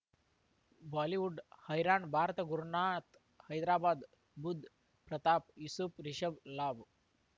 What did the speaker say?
Bollywood ಹೈರಾಣ್ ಭಾರತ ಗುರುನಾಥ್ ಹೈದರಾಬಾದ್ ಬುಧ್ ಪ್ರತಾಪ್ ಯೂಸುಫ್ ರಿಷಬ್ ಲಾಭ್